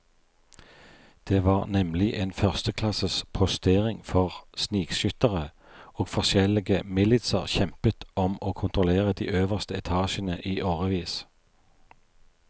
Det var nemlig en førsteklasses postering for snikskyttere, og forskjellige militser kjempet om å kontrollere de øverste etasjene i årevis.